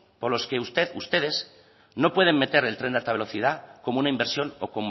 por los que usted ustedes no pueden meter el tren de alta velocidad como una inversión o